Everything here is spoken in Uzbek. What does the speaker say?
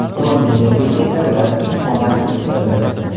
London derbisi esa ular uchun omadsiz keldi.